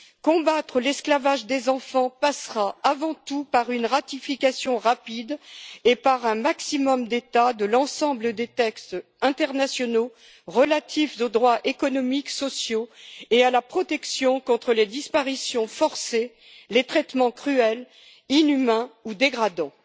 Combattre l'esclavage des enfants passera avant tout par la ratification rapide, par un maximum d'États, de l'ensemble des textes internationaux relatifs aux droits économiques et sociaux et à la protection contre les disparitions forcées, les traitements cruels, inhumains ou dégradants.